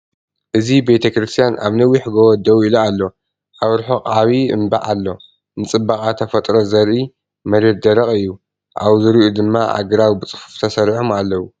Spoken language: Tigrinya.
እዚ ቤተክርስትያን ኣብ ነዊሕ ጎቦ ደው ኢሉ ኣሎ። ኣብ ርሑቕ ዓቢ እምባ ኣሎ፡ ንጽባቐ ተፈጥሮ ዘርኢ። መሬት ደረቕ እዩ፡ ኣብ ዙርያኡ ድማ ኣግራብ ብጽፉፍ ተሰሪዖም ኣለዉ።